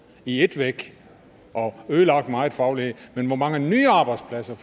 i ét væk og ødelagt meget faglighed men hvor mange nye arbejdspladser